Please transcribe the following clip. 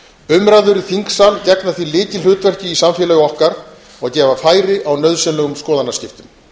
umræður í þingsal gegna því lykilhlutverki í samfélagi okkar og gefa færi á nauðsynlegum skoðanaskiptum